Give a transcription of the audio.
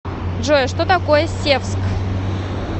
джой что такое севск